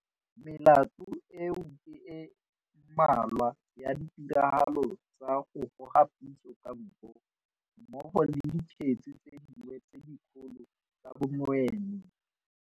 Melato eo ke e mmalwa ya 'ditiragalo tsa go goga puso ka nko' mmogo le dikgetse tse dingwe tse dikgolo tsa bonweenwee.